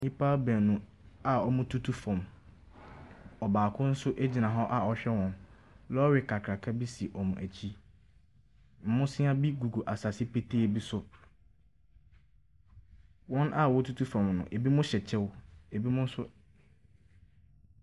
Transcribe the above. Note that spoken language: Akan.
Nnipa baanu a wɔretutu fam. Ɔbaako nso gyina hɔ a ɔrehwɛ wɔn. Lɔre kakraka bi si wɔn akyi. Abosea bi gugu asase petee bi so. Wɔn a wɔretutu fam no, ebinom hyɛ kyɛw, ebinom nso .